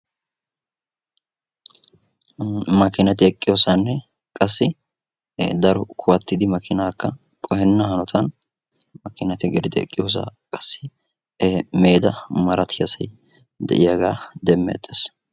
Makkinatti eqqiyosasninne qasi daro kuwattiddi kaametta eqqiyoosay giigiddi beetees.